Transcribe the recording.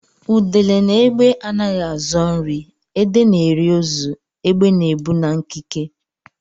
Udele na égbè anaghị azọ nri; udele na-eri ozu; égbè na-ebu na nkike.